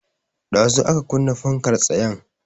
Ɗazu aka kunna fankar tsayen